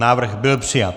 Návrh byl přijat.